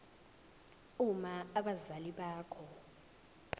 uma abazali bakho